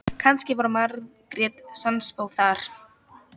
Kannski var Margrét sannspá þar.